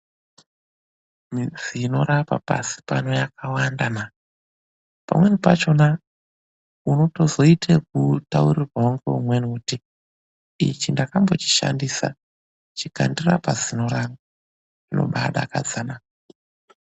Midzi inorapa pasi pano yakawanda na. Pamweni pachona, unotozoite ekutaurirwa ngeumweni kuti, ichi ndakambochishandisa. Chikandirapa zino rangu. Zvinobaadakadza naa!